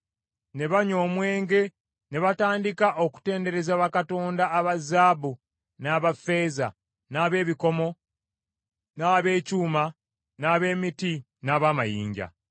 Ne banywa omwenge ne batandika okutendereza bakatonda aba zaabu n’aba ffeeza, n’ab’ebikomo, n’ab’ekyuma, n’ab’emiti n’ab’amayinja.